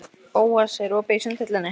Bóas, er opið í Sundhöllinni?